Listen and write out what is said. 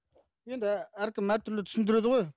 енді әркім әртүрлі түсіндіреді ғой